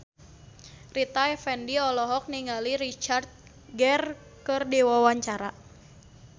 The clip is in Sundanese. Rita Effendy olohok ningali Richard Gere keur diwawancara